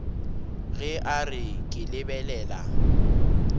ge a re ke lebelela